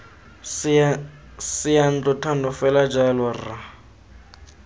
seyantlo thando fela jalo rra